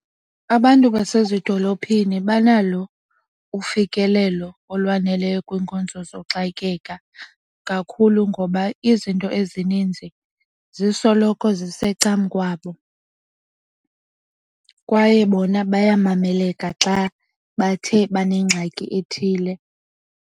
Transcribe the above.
Abantu basezidolophini banalo ufikelelo olwaneleyo kwiinkonzo zoxakeka kakhulu ngoba izinto ezininzi zisoloko zisecankwabo, kwaye bona baye mameleka xa bathe banengxaki ethile.